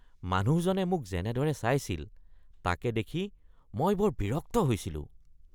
মানুহজনে মোক যেনেদৰে চাইছিল তাকে দেখি মই বৰ বিৰক্ত হৈছিলোঁ।